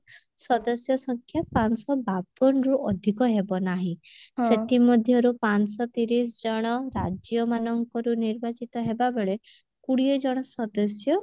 ସଦସ୍ୟ ସଂଖ୍ୟା ପାଞ୍ଚଶହ ବାବନରୁ ଅଧିକ ହେବ ନାହିଁ ସେଥି ମଧ୍ୟରୁ ପାଞ୍ଚଶହ ତିରିଶ ଜଣ ରାଜ୍ୟ ମାନଙ୍କରୁ ନିର୍ବାଚିତ ହେବା ବେଳେ କୁଡିଏ ଜଣ ସଦସ୍ୟ